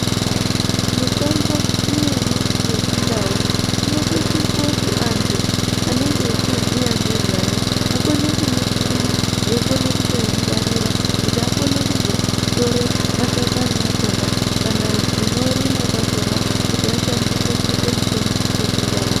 Mitombo imweni yechindau inotosise kuti antu anenge echiziya ngezvayo, akone kuisima, eiyikona kutoingwarira kuti akone kuzotore mashakani akhona kana zvinorimwa zvakhona kuti ashandise kuita mitombo yechindau.